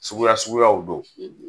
Suguya suguyaw do